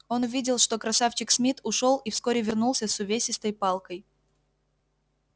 он увидел что красавчик смит ушёл и вскоре вернулся с увесистой палкой